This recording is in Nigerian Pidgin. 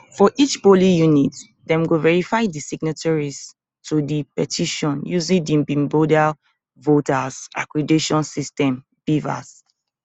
for each polling unit dem go verify di signatories to di petition using di bimodal voter accreditation system bvas